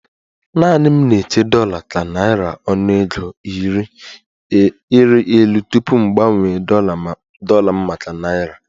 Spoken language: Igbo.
Naanị m na-eche dollar ka naira ọnụego ịrị elu tupu m gbanwee dollar m maka naira